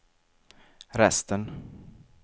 resten